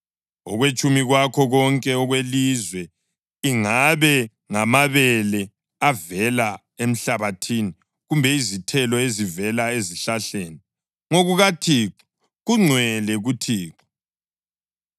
Okwetshumi kwakho konke okwelizwe, ingabe ngamabele avela emhlabathini kumbe izithelo ezivela ezihlahleni, ngokukaThixo; kungcwele kuThixo.